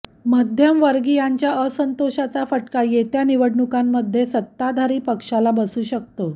मध्यमवर्गीयांच्या असंतोषाचा फटका येत्या निवडणुकांमध्ये सत्ताधारी पक्षाला बसू शकतो